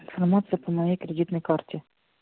информацию по моей кредитной карте